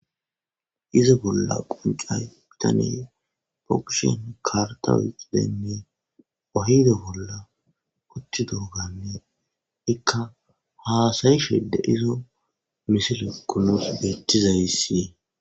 izi bolla qoncay btaney be kushen karta xidenne wayda bolla uchi durganne ikka haasayishede izo misilekkunos beettizayssi.